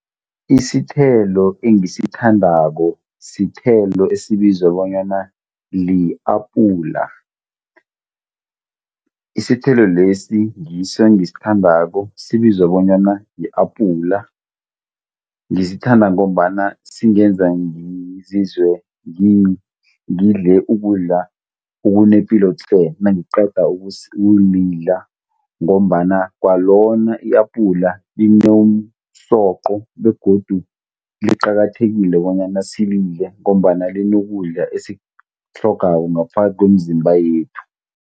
Isithelo engisithandako sithelo esibizwa bonyana li-apula. Isithelo lesi ngiso engisithandako sibizwa bonyana li-apula. Ngisithanda ngombana singenza ngizizwe ngidle ukudla okunepilo tle. nangiqeda ukulidla ngombana kwalona i-apula linomsoqo begodu liqakathekile bonyana silidle ngombana linokudla esikutlhogako ngaphakathi komzimba yethu.